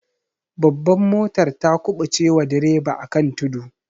Babbar motar ta kubuce wa direba akan tudu.